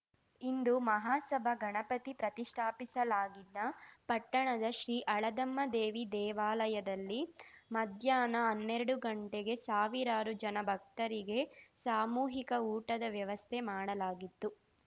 ಹಿಂದೂ ಮಹಾಸಭಾ ಗಣಪತಿ ಪ್ರತಿಷ್ಠಾಪಿಸಲಾಗಿದ್ದ ಪಟ್ಟಣದ ಶ್ರೀ ಹಳದಮ್ಮದೇವಿ ದೇವಾಲಯದಲ್ಲಿ ಮಧ್ಯಾಹ್ನ ಹನ್ನೆರಡು ಗಂಟೆಗೆ ಸಾವಿರಾರು ಜನ ಭಕ್ತರಿಗೆ ಸಾಮೂಹಿಕ ಊಟದ ವ್ಯವಸ್ಥೆ ಮಾಡಲಾಗಿತ್ತು